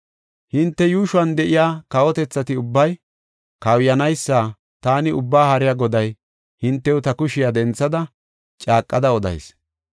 Hinte yuushuwan de7iya kawotethati ubbay kawuyanaysa taani Ubbaa Haariya Goday hintew ta kushiya denthada caaqada odayis.